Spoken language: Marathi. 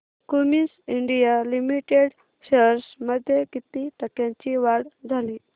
क्युमिंस इंडिया लिमिटेड शेअर्स मध्ये किती टक्क्यांची वाढ झाली